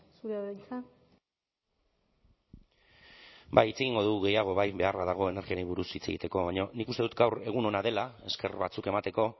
zurea da hitza ba hitz egingo dugu gehiago beharra dago energiari buruz hitz egiteko baina nik uste dut gaur egun ona dela ezker batzuk emateko